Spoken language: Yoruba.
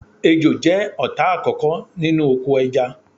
Ejò jẹ́ ọ̀tá àkókò nínú oko ẹja